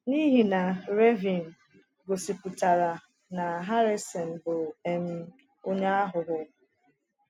N’ihi na Raven gosipụtara na Harrison bụ um onye aghụghọ.